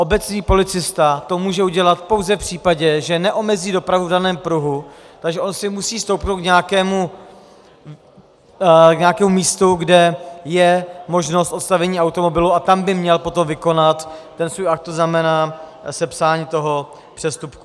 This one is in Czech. Obecní policista to může udělat pouze v případě, že neomezí dopravu v daném pruhu, takže on si musí stoupnout k nějakému místu, kde je možnost odstavení automobilu, a tam by měl potom vykonat ten svůj akt, to znamená sepsání toho přestupku.